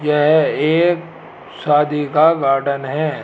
यह एक शादी का गार्डन है।